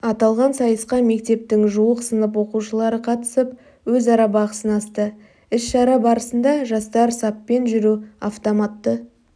аталған сайысқа мектептің жуық сынып оқушылары қатысып өзара бақ сынасты іс-шара барысында жастар саппен жүру автоматты